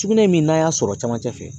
Sugunɛ min n'an y'a sɔrɔ camancɛ fɛ